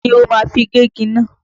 Kí ni o ma fi gé igi náà?